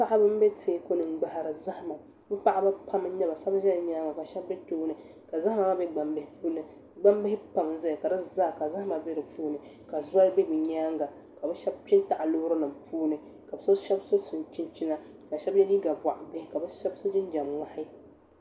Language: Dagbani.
Paɣaba n bɛ teeku ni n gbahari zahama bi paɣaba pam n nyɛba shab ʒɛla nyaanga ka shab ʒɛ tooni ka zahama maa bɛ gbambihi puuni gbambihi pam n ʒɛya ka di zaa ka zahama bɛ di puuni ka shɛŋa bɛ bi nyaanga ka bi shab kpɛ n taɣa loori nim puuni ka shab so chinchina ka bi shab yɛ liiga boɣa bihi ka shab so jinjɛm ŋmahi